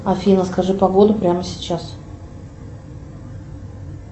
афина скажи погоду прямо сейчас